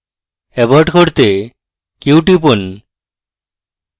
abort করতে q টিপুন